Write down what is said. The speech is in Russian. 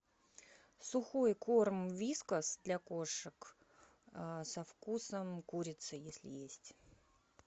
сухой корм вискас для кошек со вкусом курицы если есть